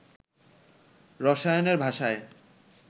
রসায়নের ভাষায়